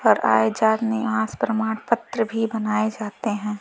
पर आय जात निवास प्रमाण पत्र भी बनाए जाते हैं।